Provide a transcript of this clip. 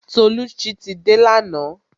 Tolucci ti dé lana